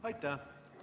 Aitäh!